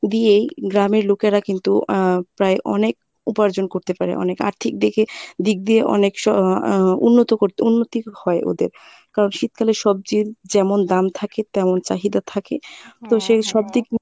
দিয়েই গ্রামের লোকেরা কিন্তু অ্যাঁ প্রায় অনেক উপার্জন করতে পারে অনেক আর্থিক দিকে~ দিক দিয়ে অনেক স আহ উন্নত করতে উন্নতি হয় ওদের, কারন শীতকালে সবজির যেমন দাম থাকে তেমন চাহিদা থাকে তো সেই সবদিক